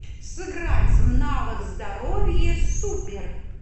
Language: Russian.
сыграть в навык здоровье супер